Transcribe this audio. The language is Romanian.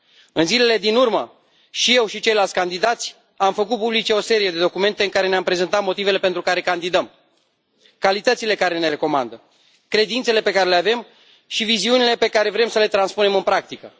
În zilele din urmă, și eu și ceilalți candidați am făcut publice o serie de documente în care ne am prezentat motivele pentru care candidăm, calitățile care ne recomandă, credințele pe care le avem și viziunile pe care vrem să le transpunem în practică.